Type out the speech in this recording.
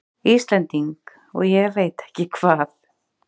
Íslending og ég veit ekki hvað!